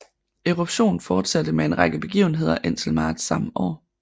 Eruption forsatte med en række begivenheder indtil marts samme år